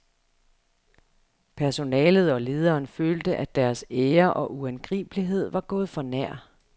Personalet og lederen følte at deres ære og uangribelighed var gået for nær.